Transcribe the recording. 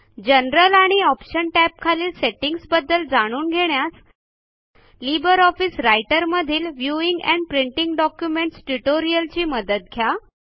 general आणि options टॅबखालील सेटींग्जबद्दल जाणून घेण्यास लिबर ऑफिस रायटरमधील व्ह्यूइंग एंड प्रिंटिंग डॉक्युमेंट्स ट्युटोरियची मदत घ्या